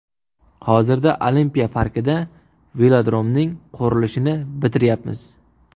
Hozirda olimpiya parkida velodromning qurilishini bitiryapmiz.